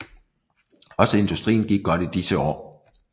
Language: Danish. Også industrien gik godt i disse år